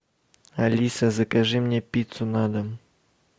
алиса закажи мне пиццу на дом